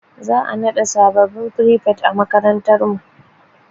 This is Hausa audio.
Za'a naɗa sabbin frifet a makarantar mu.